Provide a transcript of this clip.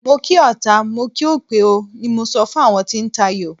Mo kí ọta, mo kí òpè o, ni mo sọ fún àwọn tí ń tayò.